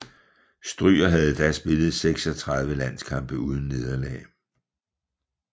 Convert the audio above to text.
Stryger havde da spillet 36 landskampe uden nederlag